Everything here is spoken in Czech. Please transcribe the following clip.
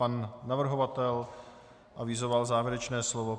Pan navrhovatel avizoval závěrečné slovo.